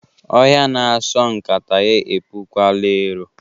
Ọhịa na-asọ nkata ya epukwala ero.